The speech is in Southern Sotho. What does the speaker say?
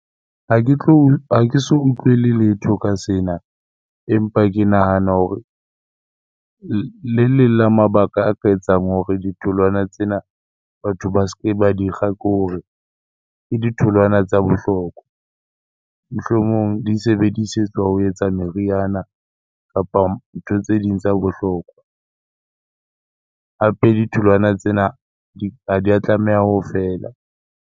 Ha ke ha ke so utlwele letho ka sena empa ke nahana hore le leng la mabaka a ka etsang hore ditholwana tsena batho ba ske ba dikga ke hore ke ditholwana tsa bohlokwa. Mohlomong di sebedisetswa ho etsa meriana kapa ntho tse ding tsa bohlokwa. Hape ditholwana tsena ha di a tlameha ho fela.